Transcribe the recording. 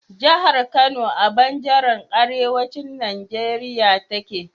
jahar Kano a banjaran arewacin Nigeria take